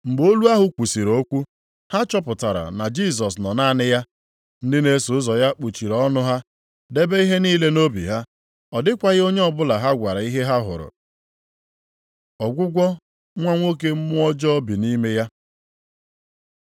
Mgbe olu ahụ kwusiri okwu, ha chọpụtara na Jisọs nọ naanị ya. Ndị na-eso ụzọ ya kpuchiri ọnụ ha, debe ihe niile nʼobi ha, ọ dịkwaghị onye ọbụla ha gwara ihe ha hụrụ. Ọgwụgwọ nwa nwoke mmụọ ọjọọ bi nʼime ya